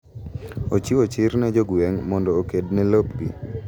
Ochiwo chir ne jo gweng' mondo oked ne lopgi